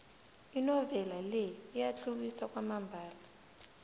inovela le iyatlhuwisa kwamambala